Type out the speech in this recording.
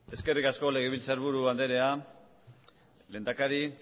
eskerrik asko legebiltzarburu andrea lehendakari